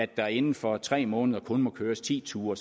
der inden for tre måneder kun må køres ti ture